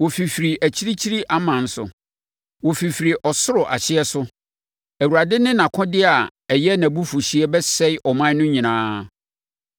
Wɔfifiri akyirikyiri aman so, wɔfirifiri ɔsoro ahyeɛ so, Awurade ne nʼakodeɛ a ɛyɛ nʼabufuhyeɛ; bɛsɛe ɔman no nyinaa.